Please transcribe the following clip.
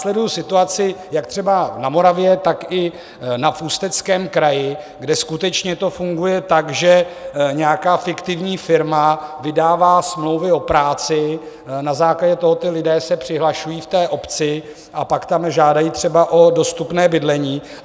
Sleduju situaci jak třeba na Moravě, tak i v Ústeckém kraji, kde skutečně to funguje tak, že nějaká fiktivní firma vydává smlouvu o práci, na základě toho ti lidé se přihlašují v té obci a pak tam žádají třeba o dostupné bydlení.